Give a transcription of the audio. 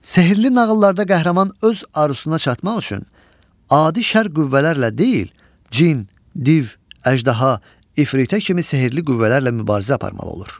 Sehirli nağıllarda qəhrəman öz arzusuna çatmaq üçün adi şər qüvvələrlə deyil, cin, div, əjdaha, ifritə kimi sehirli qüvvələrlə mübarizə aparmalı olur.